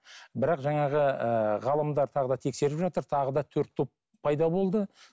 бірақ жаңағы ыыы ғалымдар тағы да тексеріп жатыр тағы да төрт топ пайда болды